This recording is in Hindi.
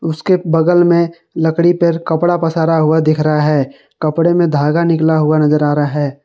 उसके बगल में लकड़ी पर कपड़ा पसारा हुआ दिख रहा है कपड़े में धागा निकला हुआ नजर आ रहा है।